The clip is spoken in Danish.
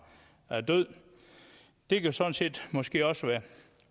lagt død det kan sådan set måske også være